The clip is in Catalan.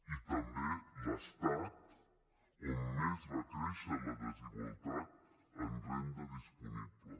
i també l’estat on més va créixer la desigualtat en renda disponible